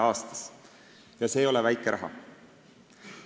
See ei ole väike raha.